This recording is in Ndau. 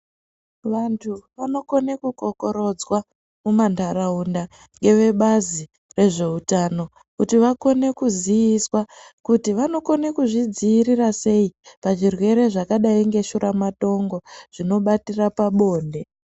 Vanhu vanokone kukokorodzwa mumanharaunda ngevebazi rezveutano kuti vakone kuziiswa kuti vanokone kuzvidziirira sei pazvirwere zvakadai ngeshuramatongo zvinobatira pabonde.